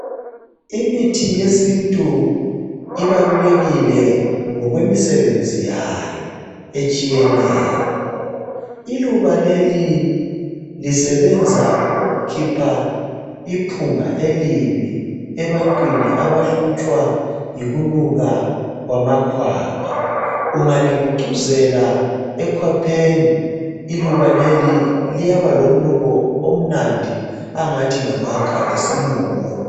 Imithi yesintu ibalulekile ngokwemisebenzi yayo etshiyeneyo iluba leli lisebenza ukukhipha iphunga elibi ebantwini abahlutshwa yikunuka kwamakhwapha ungalibucuzela ekhwapheni iluba leli liyaba lomnuko omnandi angathi ngamakha esilungu